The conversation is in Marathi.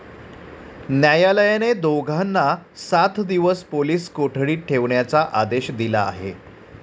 न्यायालयाने दोघांना सात दिवस पोलीस कोठडीत ठेवण्याचा आदेश दिला आहे.